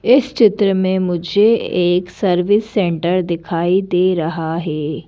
इस चित्र में मुझे एक सर्विस सेंटर दिखाई दे रहा है।